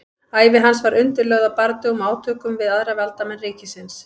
ævi hans var undirlögð af bardögum og átökum við aðra valdamenn ríkisins